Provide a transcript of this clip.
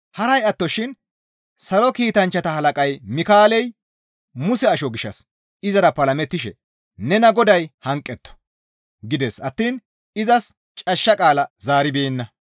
Haray attoshin salo kiitanchchata halaqay Mikaaley Muse asho gishshas izara palamettishe, «Nena Goday hanqetto!» gides attiin izas cashsha qaala zaaribeenna.